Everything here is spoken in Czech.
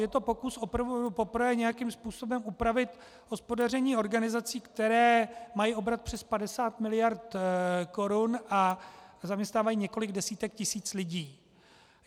Je to pokus poprvé nějakým způsobem upravit hospodaření organizací, které mají obrat přes 50 miliard korun a zaměstnávají několik desítek tisíc lidí.